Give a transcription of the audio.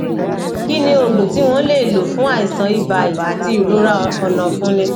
kí ni oògùn tí wọn lè lò fún aisan ibaí àti irora onafuní